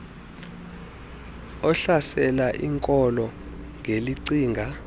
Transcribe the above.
ohlasela iinkolo ngelicinga